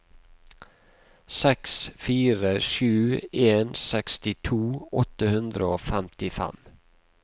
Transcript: seks fire sju en sekstito åtte hundre og femtifem